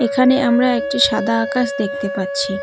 এখানে আমরা একটি সাদা আকাশ দেখতে পাচ্ছি।